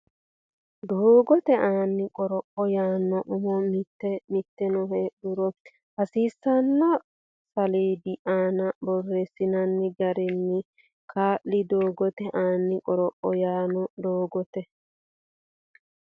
Doogote Aani Qoropho yaanno umo Mitii mitanno heedhuro hasiisanno saleedu aana borreessinsa garinni kaa li Doogote Aani Qoropho yaanno Doogote.